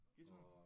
Guitar